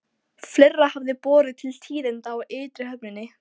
Fleira hafði borið til tíðinda á ytri höfninni.